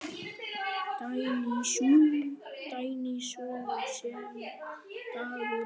Dagný, sú sem dagur yngir.